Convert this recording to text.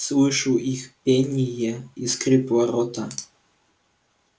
слышу их пение и скрип ворота